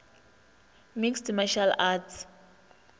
mixed martial arts